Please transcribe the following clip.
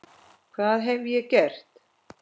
hvað hef ég gert?